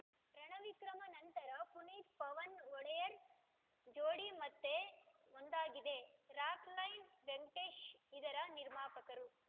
ರಣವಿಕ್ರಮ ನಂತರ ಪುನೀತ್‌ ಪವನ್‌ ಒಡೆಯರ್‌ ಜೋಡಿ ಮತ್ತೆ ಒಂದಾಗಿದೆ ರಾಕ್‌ಲೈನ್‌ ವೆಂಕಟೇಶ್‌ ಇದರ ನಿರ್ಮಾಪಕರು